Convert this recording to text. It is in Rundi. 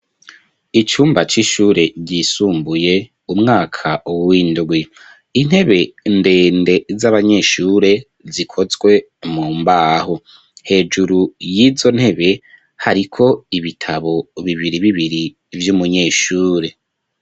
Icumba c'ishure ryisumbuye umwaka windwi intebe ndende z'abanyeshure zikozwe mu mbaho hejuru y'izo ntebe hariko ibitabo bibiri bibiri vy'umunyeshure.